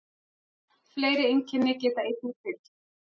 Fleiri einkenni geta einnig fylgt.